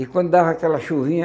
E quando dava aquela chuvinha,